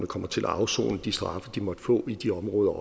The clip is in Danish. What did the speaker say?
kommer til at afsone de straffe som de måtte få i de områder